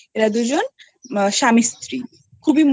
এরা দুজন স্বামী স্ত্রী খুব ই